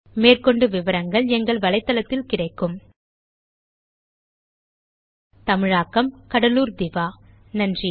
மேற்கொண்டு விவரங்கள் பின்வரும் வலைத்தளத்தில் கிடைக்கும் தமிழாக்கம் கடலூர் திவா நன்றி